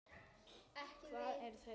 Hvað eru þeir að huga?